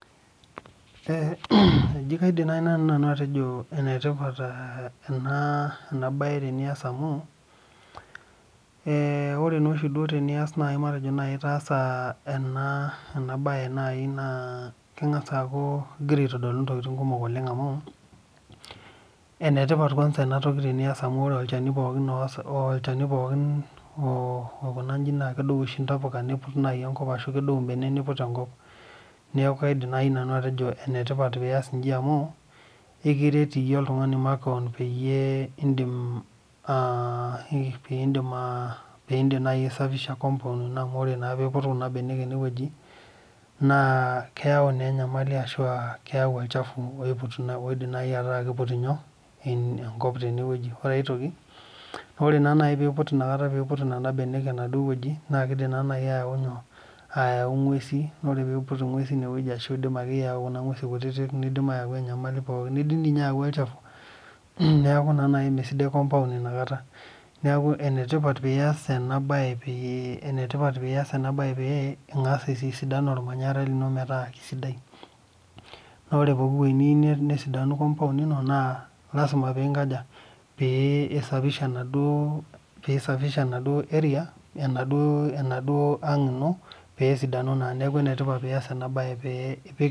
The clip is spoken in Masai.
Eji kaidim naaji nanu atejo enetipat ena mbae tenias amu ore naa oshi teneku etaasa ena mbae neeku egira aitodolu mbaa kumok amu enetipat ang'as ena mbae amu ore olchani pookin naa kedou mbenek input enkop neekuk kaidim naaji nanu atejo enetipat pias eji amu ekiret iyie oltung'ani makeon midim aisafisha compound eno amu ore naa peiput Kuna mbenek enewueji naa keyau naa enyamali ashu keyau olchafu oidim naaji akuu kiput enewueji ore enkae ore naaji pee eiput Nena mbenek enewueji na kidim ayau ng'uesi ore peyau ng'uesi nayau enyamali nidim doi ninye ayau olchafu neeku mmee sidai compound ena kata neeku enatipat pias ena pee eng'as aitididan ormanyara lino metaa kisidai naa ore pooki wueji niyieu nesidanu compound ino naa lasima pee ee safisha enaduo ang Ino pee esidanu neeku enetipat pias ena mbae pee epik